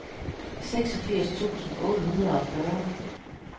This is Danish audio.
seksogfirs tusind otte hundrede og fyrre